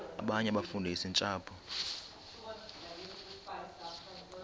abanye abafundisi ntshapo